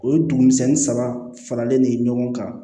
O ye dugumisɛnnin saba faralen de ye ɲɔgɔn kan